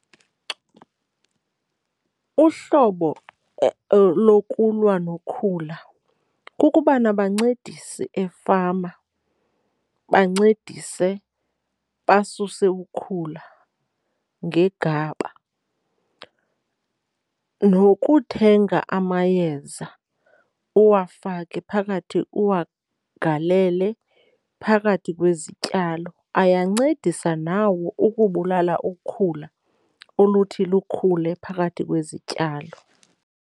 Uhlobo lokulwa nokhula kukuba nabancedisi efama, bancedise basuse ukhula ngegaba. Nokuthenga amayeza uwafake phakathi uwagalele phakathi kwezityalo, ayancedisa nawo ukubulala ukhula oluthi lukhule phakathi kwezityalo.